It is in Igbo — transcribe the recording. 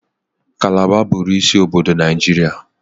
Kalaba bụụrụ isi obodo Naijiria.